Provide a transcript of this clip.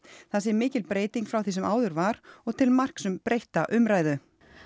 það sé mikil breyting frá því sem áður var og til marks um breytta umræðu